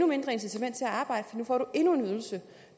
mindre incitament til at arbejde for nu får man endnu en ydelse